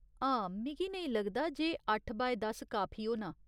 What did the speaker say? हां, मिगी नेईं लगदा जे अट्ठ बाय दस काफी होना।